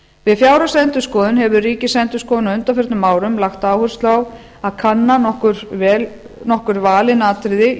við fjárhagsendurskoðun hefur ríkisendurskoðun á undanförnum árum lagt áherslu á að kanna nokkur valin atriði í